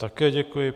Také děkuji.